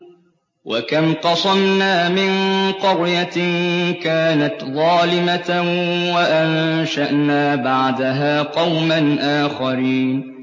وَكَمْ قَصَمْنَا مِن قَرْيَةٍ كَانَتْ ظَالِمَةً وَأَنشَأْنَا بَعْدَهَا قَوْمًا آخَرِينَ